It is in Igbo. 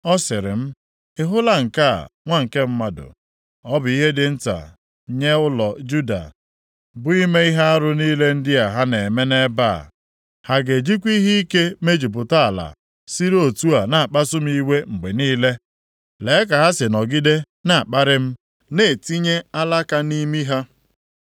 Ọ sịrị m, “Ị hụla nke a, nwa nke mmadụ? Ọ bụ ihe dị nta nye ụlọ Juda, bụ ime ihe arụ niile ndị a ha na-eme nʼebe a? Ha ga-ejikwa ihe ike mejupụta ala, siri otu a na-akpasu m iwe mgbe niile? Lee ka ha si nọgide na-akparị m, na-etinye alaka nʼimi ha.